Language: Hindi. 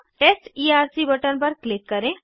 टेस्ट ईआरसी बटन पर क्लिक करें